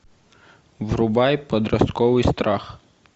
врубай подростковый страх